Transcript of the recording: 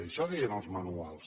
això deien els manuals